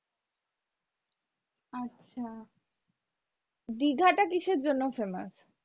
আচ্ছা দিঘাটা কিসের জন্য famous